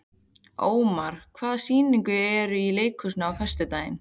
Ómar, hvaða sýningar eru í leikhúsinu á föstudaginn?